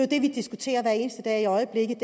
det vi diskuterer hver eneste dag i øjeblikket